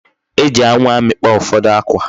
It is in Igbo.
E ji anwu amikpo ufodu akwa.